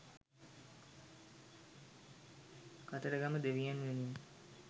කතරගම දෙවියන් වෙනුවෙන්